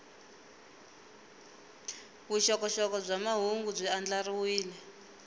vuxokoxoko bya mahungu byi andlariwile